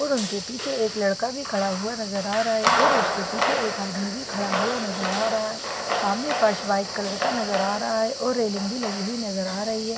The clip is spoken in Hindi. और उनके पीछे एक लड़का भी खड़ा हुआ नजर आ रहा है और उसके पीछे एक आदमी भी खड़ा हुआ नजर आ रहा है सामने फर्श वाइट कलर का नजर आ रहा है और रेलिंग भी लगे हुए नजर आ रही है।